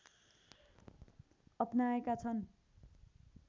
अपनाएका छन्